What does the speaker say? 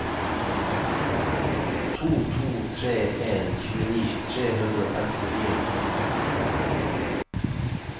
to to tre en tjueni tre hundre og femtifire